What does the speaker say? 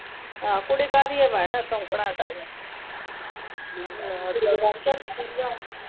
ਆਹ ਕੁੜੀ ਕਾਹਦੀ ਹੈ ਭੈਣ ਸੁੱਕਣਾ ਹੈ ਸਾਰੀਆਂ ਚੱਲ ਬਸ ਕਰ।